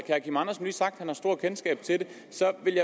han har stort kendskab til det så jeg vil